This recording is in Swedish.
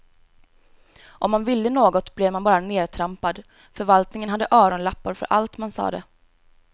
Om man ville något blev man bara nertrampad, förvaltningen hade öronlappar för allt man sade.